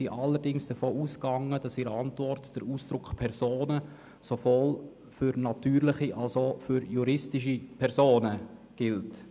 Allerdings sind wir davon ausgegangen, dass der Ausdruck «Personen» in der Antwort sowohl für natürliche als auch für juristische Personen gilt.